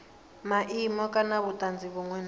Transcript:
maimo kana vhutanzi vhunwe na